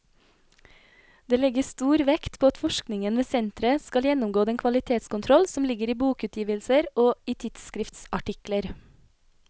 Dette legges stor vekt på at forskningen ved senteret skal gjennomgå den kvalitetskontroll som ligger i bokutgivelser og i tidsskriftsartikler.